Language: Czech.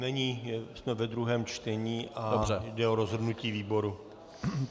Není, jsme ve druhém čtení a jde o rozhodnutí výboru.